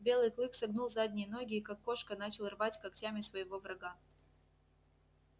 белый клык согнул задние ноги и как кошка начал рвать когтями своего врага